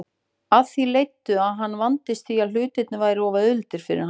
Af því leiddi að hann vandist því að hlutirnir væru of auðveldir fyrir hann.